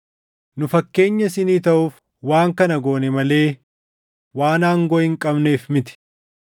Nu fakkeenya isinii taʼuuf waan kana goone malee waan aangoo hin qabneef miti.